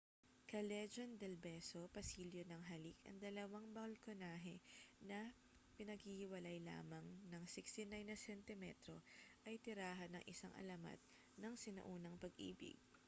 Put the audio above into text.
callejon del beso pasilyo ng halik. ang dalawang balkonahe na pinaghihiwalay lamang nang 69 na sentimetro ay tirahan ng isang alamat ng sinaunang pag-ibig